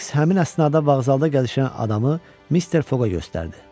Fiks həmin əsnada bağzalda gəzişən adamı Mister Foqa göstərdi.